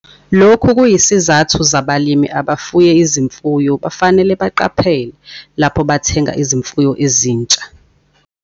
Lokhu kuyisizathu zabalimi abafuya izimfuyo bafanele baqaphele lapho bathenga izimfuyo ezinsha.